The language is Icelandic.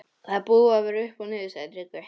Þetta er búið að vera upp og niður, sagði Tryggvi.